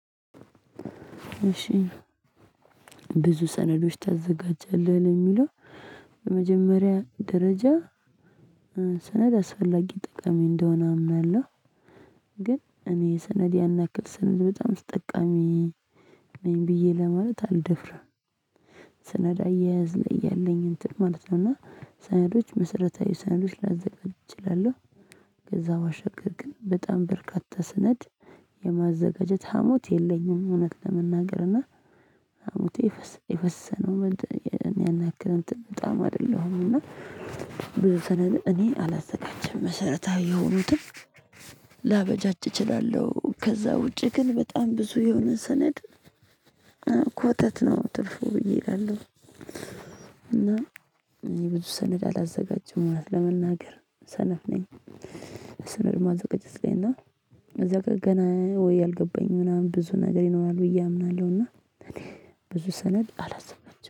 እሺ ብዙ ሰነዶች ታዘጋጃለህ የሚለው በመጀመሪያ ደረጃ ሰነድ አስፈላጊ ጠቃሚ እንደሆነ አምናለሁ። ግን እኔ ሰነድ ያን ያክል ሰነድ በጣም ተጠቃሚ ነኝ ብዬ ለማለት አልደፍርም። ሰነድ አያያዝ ላይ ያለኝ እንትን ማለት ነው። እና ሰነዶች መሰረታዊ ሰነዶች ላዘጋጅ እችላለሁ። ከዛ ባሻገር ግን በጣም በርካታ ሰነድ የማዘጋጀት ሀሞት የለኝም። እውነት ለመናገር እና ሀሞቴ የፈሰሰነው እኔ ያን ያክልን በጣም አይደለሁም። እና ብዙ ሰነድ እኔ አላዘጋጅም መሰረታዊ የሆኑትን ላበጃጅ እችላለሁ። ከዛ ውጪ ግን በጣም ብዙ የሆነ ሰነድ ኮተት ነው ትርፉ ብዬ እላለሁ። እና እኔ ብዙ ሰነድ አላዘጋጀም ማለት ለመናገር ሰነፍ ነኝ። ሰነድ ማዘጋጀት ላይ እና እዛ ጋር ገና ወይ ያልገባኝም ምናምን ብዙ ነገር ይኖራል ብዬ አምናለሁ። እና እኔ ብዙ ሰነድ አላዘጋጅም